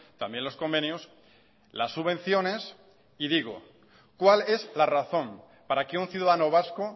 también los convenios las subvenciones y digo cuál es la razón para que un ciudadano vasco